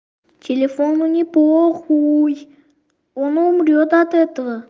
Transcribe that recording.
телефону не похуй он умрёт от этого